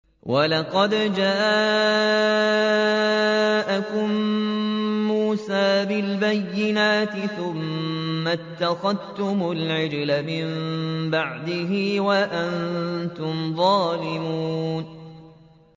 ۞ وَلَقَدْ جَاءَكُم مُّوسَىٰ بِالْبَيِّنَاتِ ثُمَّ اتَّخَذْتُمُ الْعِجْلَ مِن بَعْدِهِ وَأَنتُمْ ظَالِمُونَ